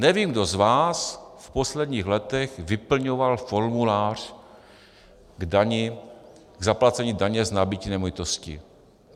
Nevím, kdo z vás v posledních letech vyplňoval formulář k zaplacení daně z nabytí nemovitosti.